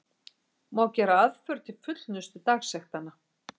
Má gera aðför til fullnustu dagsektanna.